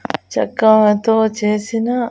చక్రాలతో చేసిన--